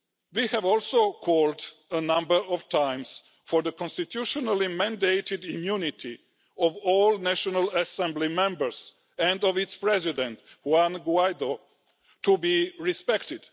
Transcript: We have also called a number of times for the constitutionally mandated immunity of all National Assembly members, and of Assembly President Juan Guaidó, to be respected.